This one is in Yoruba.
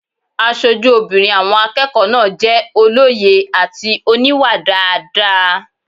Aṣojú obìnrin àwọn akẹ́kọ̀ọ́ náà jẹ́ olóye àti oníwà dáadáa